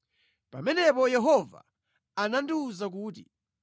Pamenepo Yehova anandiwuza kuti,